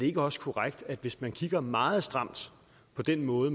ikke også korrekt hvis man kigger meget stramt på den måde